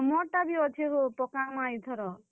ହଁ, ମୋର ଟା ବି ଅଛେ ହୋ ପକାମା ଇଥର।